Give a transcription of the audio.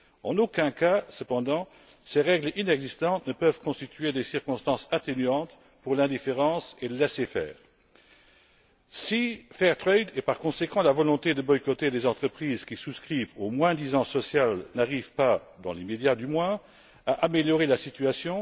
En aucun cas, cependant, ces règles inexistantes ne peuvent constituer des circonstances atténuantes pour l'indifférence et le laissez faire. Si Fair trade et, par conséquent, la volonté de boycotter des entreprises qui souscrivent au moins disant social, n'arrive pas dans l'immédiat, du moins, à améliorer la situation,